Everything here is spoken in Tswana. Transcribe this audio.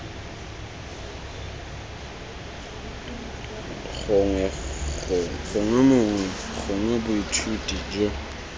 gongwe mongwe gongwe bothati jo